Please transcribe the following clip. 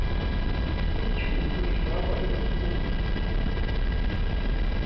ityhubhu ifakwa nempumlweni